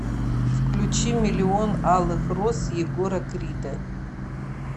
включи миллион алых роз егора крида